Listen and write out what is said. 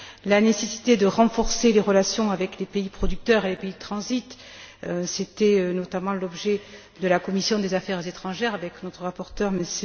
la nécessité de renforcer les relations avec les pays producteurs et les pays de transit c'était notamment l'objet de la commission des affaires étrangères avec notre rapporteur, M.